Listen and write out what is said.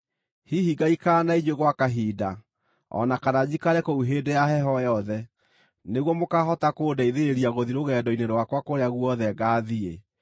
Hihi ngaikara na inyuĩ gwa kahinda, o na kana njikare kũu hĩndĩ ya heho yothe, nĩguo mũkaahota kũndeithĩrĩria gũthiĩ rũgendo-inĩ rwakwa kũrĩa guothe ngaathiĩ.